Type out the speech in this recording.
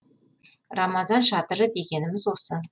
рамазан шатыры дегеніміз осы